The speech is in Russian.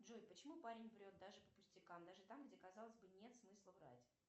джой почему парень врет даже по пустякам даже там где казалось бы нет смысла врать